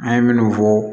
An ye minnu fɔ